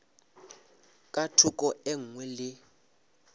ka thoko e nngwe le